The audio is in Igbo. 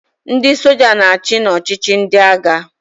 Ndị soja na-achị n'ọchịchị ndị agha.